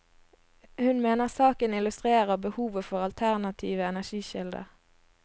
Hun mener saken illustrerer behovet for alternative energikilder.